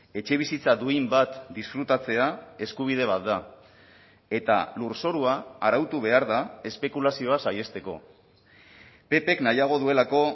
etxebizitza duin bat disfrutatzea eskubide bat da eta lurzorua arautu behar da espekulazioa saihesteko ppk nahiago duelako